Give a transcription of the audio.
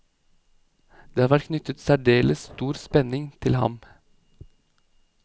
Det har vært knyttet særdeles stor spenning til ham.